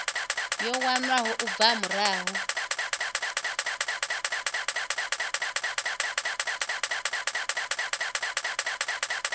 yo wanwaho u bva murahu